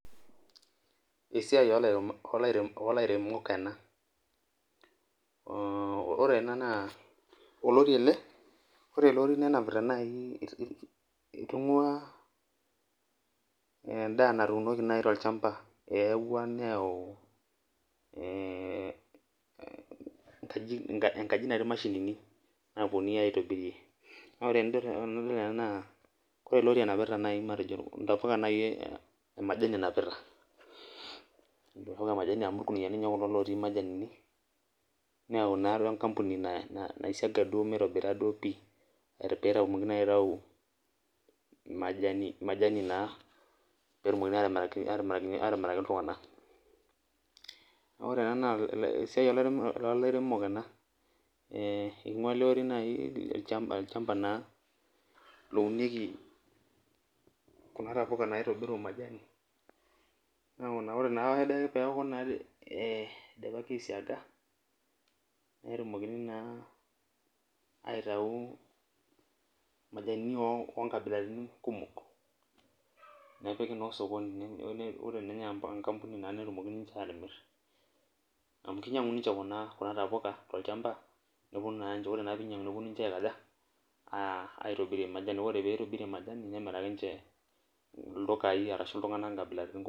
Esiai olairemok ena. Ore ena naa olori ele, ore ele ori nenapita nai itung'ua endaa natuunoki nai tolchamba. Eewua neeu enkaji natii mashinini naponui aitobirie. Na ore enadol ena naa kore ele ori enapita nai matejo intapuka nai emajani enapita. Intapuka emajani amu irkuniyiani nye kulo otii majanini, neeu naa atua enkampuni nai siaga duo mitobira duo pi. Petumoki naa aitau majani naa. Petumokini atimiraki iltung'anak. Ore ena naa esiai olairemok ena. Ing'ua ele ori nai olchamba naa lounieki kuna tapuka naitobiru majani. Ore nake peku naa idipaki ai siaga, netumokini naa aitau majanini onkabilaritin kumok. Nepiki naa osokoni ore ninye enkampuni netumoki ninche atimir amu kinyang'u ninche kuna tapuka tolchamba, ore naa pinyang'u neponu ninche aikaja, aitobirie majani. Ore pitobirie majani nemiraki nche ildukai arashu iltung'anak nkabilaritin kumok.